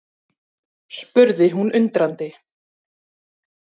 spurði hún undrandi.